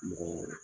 Mɔgɔɔ